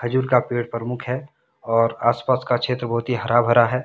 खजूर का पेड़ प्रमुख है और आसपास का क्षेत्र बहुत ही हरा भरा है।